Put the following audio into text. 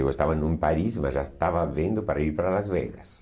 Eu estava em Paris, mas já estava vendo para ir para Las Vegas.